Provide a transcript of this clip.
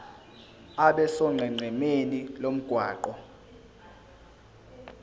abe sonqenqemeni lomgwaqo